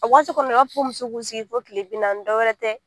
A waati kɔni u b'a fɔ ko muso k'u sigi fo tile bi naani dɔwɛrɛ tɛ